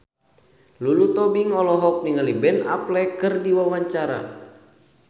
Lulu Tobing olohok ningali Ben Affleck keur diwawancara